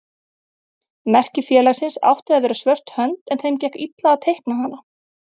Merki félagsins átti að vera svört hönd en þeim gekk illa að teikna hana.